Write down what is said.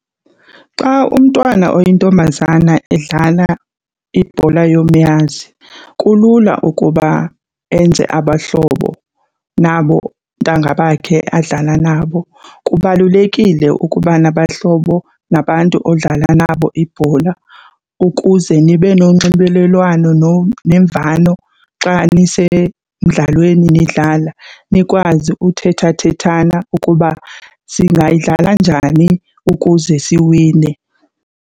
Xa umntwana oyintombazana edlala ibhola yomnyazi kulula ukuba enze abahlobo nabo ntanga bakhe adlala nabo. Kubalulekile ukuba nabahlobo nabantu odlala nabo ibhola ukuze nibe nonxibelelwano nemvano xa nisemdlalweni nidlala, nikwazi ukuthetha thethana ukuba singadlala njani ukuze siwine.